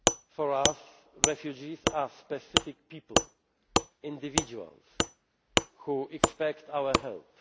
For us, refugees are specific people individuals who expect our